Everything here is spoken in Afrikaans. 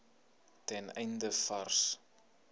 ten einde vars